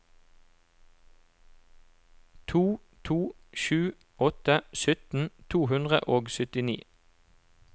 to to sju åtte sytten to hundre og syttini